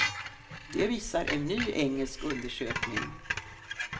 Det visar en ny engelsk undersökning.